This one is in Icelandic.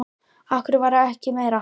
Af hverju var ekki meira aðhald veitt?